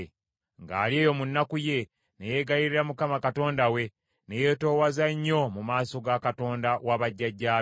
Ng’ali eyo mu nnaku ye, ne yeegayirira Mukama Katonda we, ne yeetoowaza nnyo mu maaso ga Katonda wa bajjajjaabe.